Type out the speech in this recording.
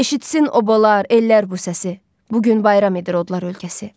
Eşitsin obalar, ellər bu səsi, bu gün bayram edir odlar ölkəsi.